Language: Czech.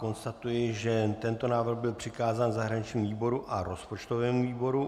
Konstatuji, že tento návrh byl přikázán zahraničnímu výboru a rozpočtovému výboru.